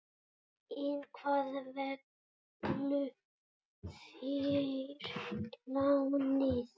En hvað fengu þeir lánað?